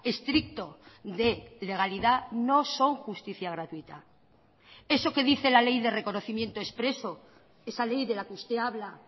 estricto de legalidad no son justicia gratuita eso que dice la ley de reconocimiento expreso esa ley de la que usted habla